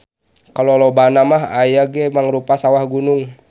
Kalolobana mah aya ge mangrupa sawah gunung.